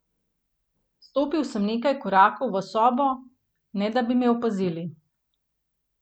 Stopil sem nekaj korakov v sobo, ne da bi me opazili.